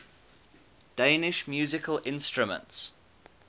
danish musical instruments